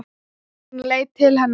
Hann leit til hennar.